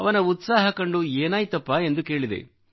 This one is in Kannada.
ಅವನ ಉತ್ಸಾಹ ಕಂಡು ಏನಾಯ್ತಪ್ಪ ಎಂದು ಕೇಳಿದೆ